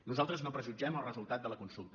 nosaltres no prejutgem el resultat de la consulta